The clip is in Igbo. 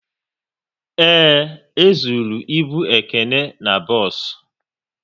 Ee, e zụrụ ịbụ Ekene n'bos